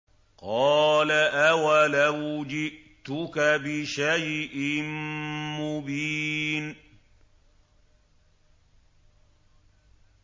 قَالَ أَوَلَوْ جِئْتُكَ بِشَيْءٍ مُّبِينٍ